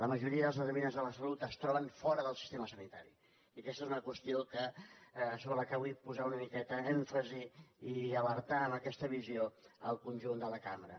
la majoria dels determinants de la salut es troben fora del sistema sa·nitari i aquesta és una qüestió sobre la qual vull posar una miqueta èmfasi i alertar amb aquesta visió el con·junt de la cambra